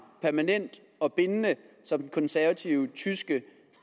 som den konservative tyske